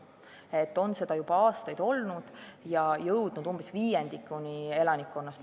See tendents on juba aastaid olnud ja oleme jõudnud selleni, et suitsetab umbes viiendik elanikkonnast.